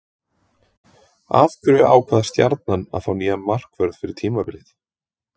Af hverju ákvað Stjarnan að fá nýjan markvörð fyrir tímabilið?